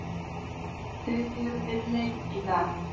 Þeir eru við leit í dag.